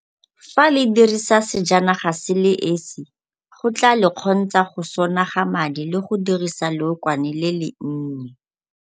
Fa le dirisa sejanaga se le esi go tla le kgontsha go sonaga madi le go dirisa leokwane le le nnye.